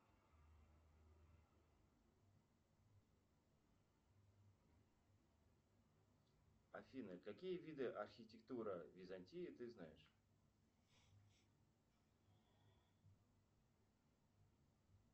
афина какие виды архитектура византии ты знаешь